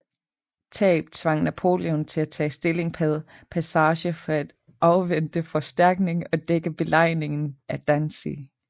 Tab tvang Napoleon til at tage stilling bag Passarge for at afvente forstærkning og dække belejringen af Danzig